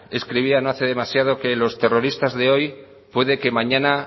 escribía no hace demasiado que los terroristas de hoy puede que mañana